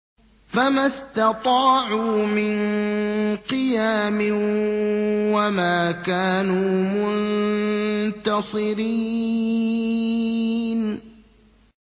فَمَا اسْتَطَاعُوا مِن قِيَامٍ وَمَا كَانُوا مُنتَصِرِينَ